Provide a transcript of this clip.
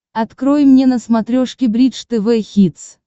открой мне на смотрешке бридж тв хитс